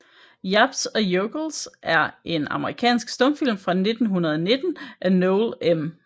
Yaps and Yokels er en amerikansk stumfilm fra 1919 af Noel M